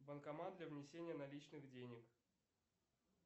банкомат для внесения наличных денег